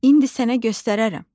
İndi sənə göstərərəm.